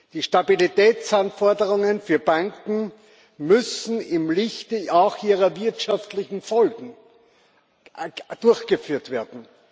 Die Stabilitätsanforderungen für Banken müssen auch im Lichte ihrer wirtschaftlichen Folgen durchgeführt werden.